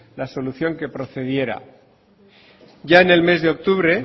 la solución que procediera ya en el mes de octubre